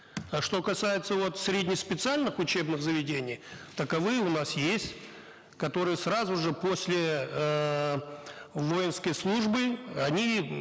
а что касается вот средне специальных учебных заведений таковые у нас есть которые сразу же после эээ воинской службы они